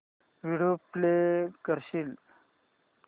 video play करशील